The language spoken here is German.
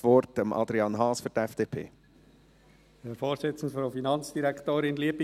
Ich gebe Adrian Haas das Wort für die FDP.